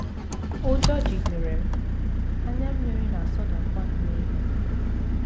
Ụjọ jidere m, anya mmiri na - asọdakwa m n’ihu.